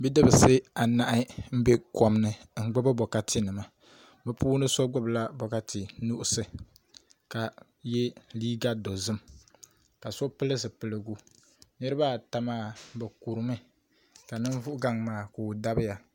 Bidibsi anahi n bɛ kom ni n gbubi bokati nima bi so gbubila bokati nuɣso ka yɛ liiga dozim ka so pili zipiligu niraba ata maa bi kurimi ka ninvuɣu gaŋ maa ka o dabiya